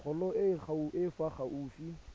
kgolo e e fa gaufi